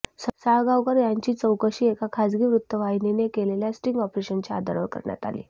साळगावकर यांची चौकशी एका खासगी वृत्त वाहिनीने केलेल्या स्टिंग ऑपरेशनच्या आधारावर करण्यात आली